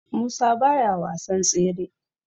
Musa baya wasan tsere